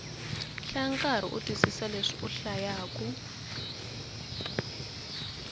hlaya ukarhi u twisisa leswi u hlayaku